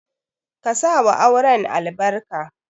Ka sa wa auren albarka.